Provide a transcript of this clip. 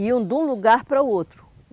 Iam de um lugar para o outro.